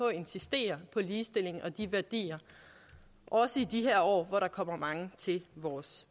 at insistere på ligestilling og de værdier også i de her år hvor der kommer mange til vores